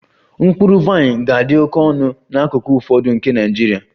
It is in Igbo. Mkpụrụ vaịn ga-adị oke ọnụ n'akụkụ ụfọdụ nke Nigeria